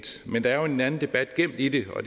men der er jo en anden debat gemt i det og